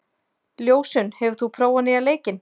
Ljósunn, hefur þú prófað nýja leikinn?